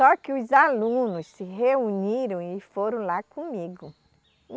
Só que os alunos se reuniram e foram lá comigo.